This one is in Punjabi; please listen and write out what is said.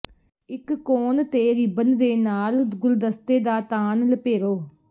ਇਕ ਕੋਣ ਤੇ ਰਿਬਨ ਦੇ ਨਾਲ ਗੁਲਦਸਤੇ ਦਾ ਤਾਣ ਲਪੇਰੋ